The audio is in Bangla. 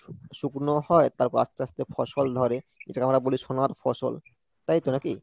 শু~ শুকনো হয় তারপর আস্তে আস্তে ফসল ধরে যেটাকে আমরা বলি সোনার ফসল তাই তো নাকি?